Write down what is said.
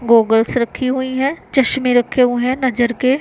Goggles रखी हुई हैं चश्मे रखे हुए हैं नजर के।